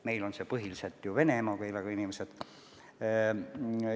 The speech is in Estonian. Meil on põhiliselt tegu ju vene emakeelega inimestega.